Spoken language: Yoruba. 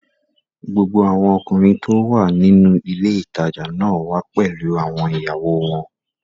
Gbogbo àwọn ọkùnrin tó wà nínú ilé ìtajà náà wà pẹ̀lú àwọn ìyàwó wọn